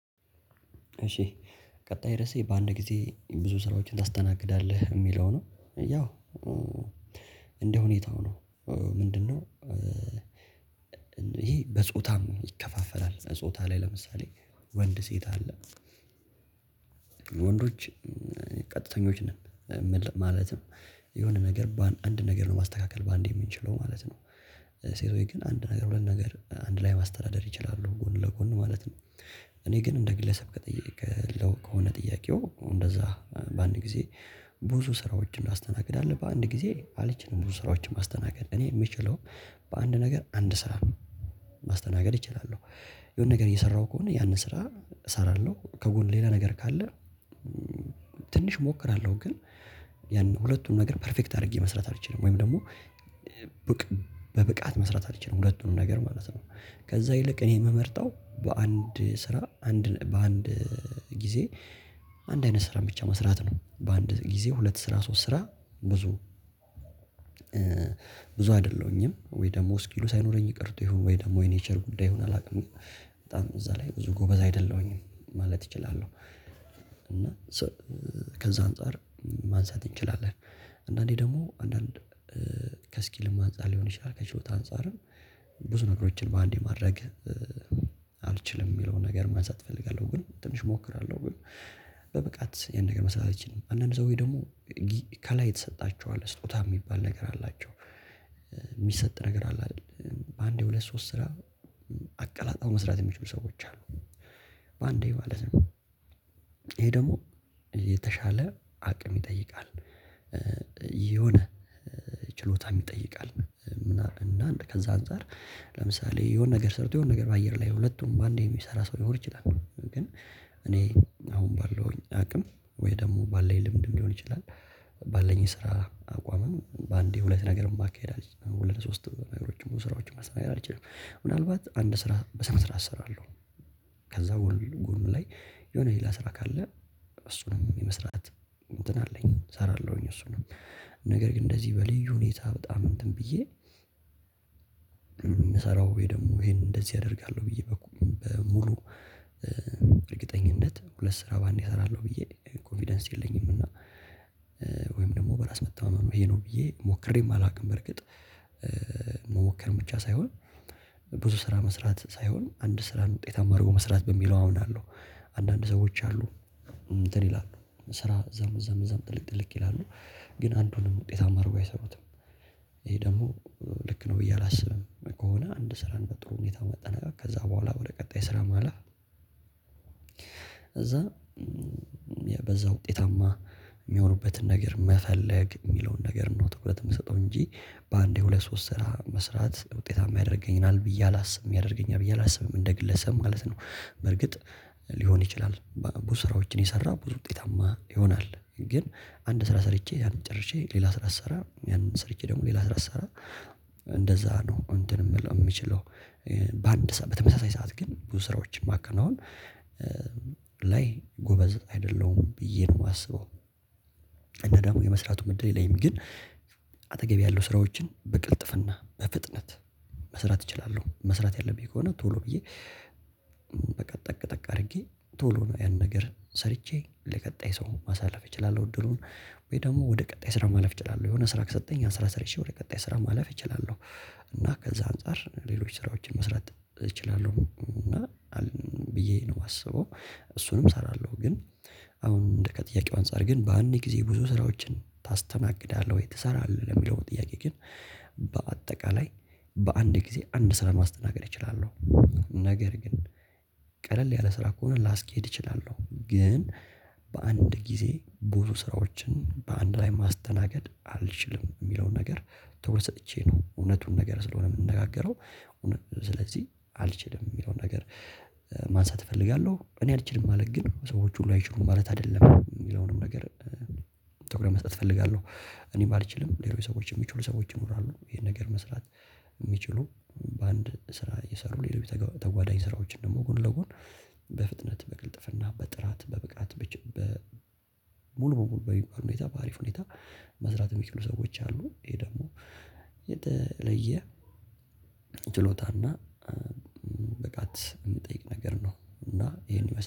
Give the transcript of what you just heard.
እሺ ቀጣይ ርዕሴ በአንድ ጊዜ ብዙ ስራዎችን ታስተናግዳለህ የሚለው ነው? ያው እንደ ሁኔታው ነው። ምንድነው? ይሄ በጾታም ይከፋፈራል ጾታ ላይ ለምሳሌ ወንድ ሴት አለ። ወንዶች ቀጥተኞች ነን። ማለትም የሆነ ነገር በአንድ አንድ ነገር ነው ማስተካከል በአንዴ የምንችለው ማለት ነው። ሴቶች ግን አንድ ነገር ሁለት ነገር አንድ ላይ ማስተዳደር ይችላሉ ጎን ለጎን ማለት ነው። እኔ ግን እንደ ግለሰብ ከጠየከኝ ጥያቄው እንደዛ በአንድ ጊዜ ብዙ ስራዎችን ማስተናገድ አለብህ በአንድ ጊዜ አለችኝ ብዙ ስራዎችን ማስተናገድ እኔ የምችለው። በአንድ ነገር አንድ ስራ ማስተናገድ እችላለሁ። የሆነ ነገር እየሰራሁ ከሆነ ያንን ስራ እሰራለሁ ከጎን ሌላ ነገር ካለ። ትንሽ እሞክራለሁ ግን ያን ሁለቱን ነገር ፔርፌክት አድርጌ መስራት አልችልም። ወይም ደግሞ ሴቶች ግን አንድ ነገር ሁለት ነገር አንድ ላይ ማስተዳደር ይችላሉ ጎን ለጎን ማለት ነው። እኔ ግን እንደ ግለሰብ ከጠየከኝ ጥያቄው እንደዛ በአንድ ጊዜ ብዙ አይደለሁኝም ወይ ደግሞ እስኪሉ ሳይኖረኝ ቀርቶ ይሆን ወይ ደግሞ የኔቸር ጉዳይ ሆኖ አላውቅም። በጣም እዛ ላይ ብዙ ጎበዝ አይደለሁኝም ማለት እችላለሁ። እና ከዛ አንፃር ማንሳት እንችላለን። አንዳንዴ ደግሞ አንዳንድ ከእስኪልም አንፃር ሊሆን ይችላል ከችሎታ አንፃርም ብዙ ነገሮችን በአንዴ ማድረግ አልችልም የሚለውን ነገር ማንሳት እፈልጋለሁ ግን ትንሽ እሞክራለሁ ግን በብቃት ያን ነገር መስራት አልችልም። አንዳንድ ሰዎች ደግሞ ከላይ የተሰጣቸው አለ ስጦታ ሚባል ነገር አላቸው። ሚሰጥ ነገር አለ አይደል? በአንዴ ሁለት ሶስት ስራ አቀላጣው መስራት የሚችሉ ሰዎች አሉ። በአንዴ ማለት ነው። ይሄ ደግሞ የተሻለ አቅም ይጠይቃል። የሆነ ችሎታም ይጠይቃል ምናምን እና ከዛ አንፃር ለምሳሌ የሆነ ነገር ሰርቶ የሆነ ነገር በአየር ላይ ሁለቱም በአንዴ የሚሰራ ሰው ልኖር ይችላል። ግን እኔ አሁን ባለውኝ አቅም ወይ ደግሞ ባለኝ ልምድ ሊሆን ይችላል። ባለኝ የስራ አቋምም በአንዴ ሁለት ነገርን ማካሄድ አልችልም ሁለት ሶስት ነገሮችን ብዙ ስራዎችን መስተናገድ አልችልም። ምናልባት አንድ ስራ በስነ ስርዓት እሰራለሁ። ከዛ ጎኑ ላይ የሆነ ሌላ ስራ ካለ እሱንም የመስራት እንትን አለኝ እሰራለሁኝ። እሱንም ነገር ግን እንደዚህ በልዩ ሁኔታ በጣም እንትን ብዬ የምሰራው ወይ ደግሞ ይሄን እንደዚህ አደርጋለሁ ብዬ በሙሉ እርግጠኝነት ሁለት ስራ በአንዴ አሰራለሁ ብዬ ኮንፊደንስ የለኝም። እና ወይም ደግሞ በራስ መተማመኑ ይሄ ነው ብዬ ሞክሬም አላውቅም። በርግጥ መሞከርም ብቻ ሳይሆን ብዙ ስራ መስራት ሳይሆን አንድ ስራን ውጤታማ አድርጎ መስራት በሚለው አምናለሁ። አንዳንድ ሰዎች አሉ። እንትን ይላሉ ስራ እዛም እዛም እዛም ጥልቅ ጥልቅ ይላሉ። ግን አንዱንም ውጤታማ አድርጎ አይሰሩትም። ይሄ ደግሞ ልክ ነው ብዬ አላስብም። ከሆነ አንድ ስራን በጥሩ ሁኔታ መጠናቀቅ ከዛ በኋላ ወደ ቀጣይ ስራ ማለፍ። እዛ በዛ ውጤታማ የሚሆኑበትን ነገር መፈለግ የሚለውን ነገር ነው ትኩረት የምሰጠው። እንጂ በአንዴ ሁለት ሶስት ስራ መስራት ውጤታማ ያደርገኛል ብዬ አላስብም ያደርገኛል ብዬ አላስብም። እንደ ግለሰብ ማለት ነው በርግጥ ሊሆን ይችላል ብዙ ስራዎችን የሰራ ብዙ ውጤታማ ይሆናል። ግን አንድ ስራ ሰርቼ አንድ ያንን ጨርሼ ሌላ ስራ ስሰራ ያንን ሰርቼ ደግሞ ሌላ ስራ ስሰራ እንደዛ ነው እንትን የምለው የምችለው። በአንድ ሰዓት በተመሳሳይ ሰዓት ግን ብዙ ስራዎችን ማከናወን ላይ ጎበዝ አይደለሁም ብዬ ነው የማስበው። እና ደግሞ የመስራቱን እድል የለኝም ግን ተገቢ ያለው ስራዎችን በቅልጥፍና በፍጥነት መስራት እችላለሁ። መስራት ያለብኝ ከሆነ ቶሎ ብዬ በቃ ጠቅ ጠቅ አድርጌ ቶሎ ነው ያን ነገር ሰርቼ ለቀጣይ ሰው ማሳለፍ እችላለሁ። እድሉን ወይ ደግሞ ወደ ቀጣይ ስራ ማለፍ እችላለሁ የሆነ ስራ ከሰጠኝ ያን ስራ ሰርቼ ወደ ቀጣይ ስራ ማለፍ እችላለሁ። እና ከዛ አንፃር ሌሎች ስራዎችን መስራት እችላለሁ። እና ብዬ ነው የማስበው እሱንም እሰራለሁ። ግን አሁን ከጥያቄው አንፃር ግን በአንድ ጊዜ ብዙ ስራዎችን ታስተናግዳለህ ወይ ትሰራለህ ለሚለው ጥያቄ ግን? በአጠቃላይ በአንድ ጊዜ አንድ ስራ ማስተናገድ እችላለሁ። ነገር ግን ቀለል ያለ ስራ ከሆነ ላስኬድ እችላለሁ። ግን በአንድ ጊዜ ብዙ ስራዎችን በአንድ ላይ ማስተናገድ አልችልም የሚለውን ነገር ትኩረት ሰጥቼ ነው እውነቱን ነገር ስለሆነ የምንነጋገረው። ስለዚህ አልችልም የሚለውን ነገር ማንሳት እፈልጋለሁ። እኔ አልችልም ማለት ግን ሰዎች ሁሉ አይችሉም ማለት አይደለም የሚለውንም ነገር። ትኩረት መስጠት እፈልጋለሁ። እኔም ባልችልም ሌሎች ሰዎች የሚችሉ ሰዎች ይኖራሉ። ይሄን ነገር መስራት የሚችሉ በአንድ ስራ እየሰሩ ሌሎች ተጓዳኝ ስራዎችን ደግሞ ጎን ለጎን በፍጥነት በቅልጥፍና በጥራት በብቃት። ሙሉ በሙሉ በልዩ ሁኔታ በአሪፍ ሁኔታ መስራት የሚችሉ ሰዎች አሉ። ይሄ ደግሞ የተለየ ችሎታና ብቃት የምጠይቅ ነገር ነው። እና ይሄን ይመስላል